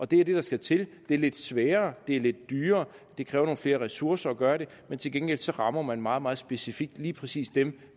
det er det der skal til det er lidt sværere det er lidt dyrere og det kræver nogle flere ressourcer at gøre det men til gengæld rammer man meget meget specifikt lige præcis dem